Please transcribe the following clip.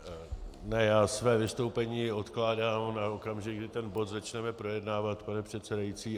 Ne, já své vystoupení odkládám na okamžik, kdy ten bod začneme projednávat, pane předsedající.